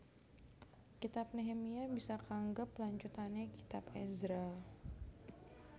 Kitab Nehemia bisa kaanggep lanjutané kitab Ezra